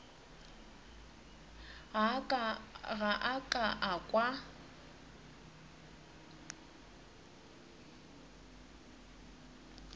ga a ka a kwa